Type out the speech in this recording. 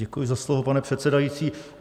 Děkuji za slovo, pane předsedající.